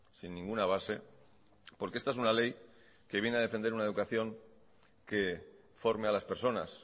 sin ninguna base porque esta es una ley que viene a defender una educación que forme a las personas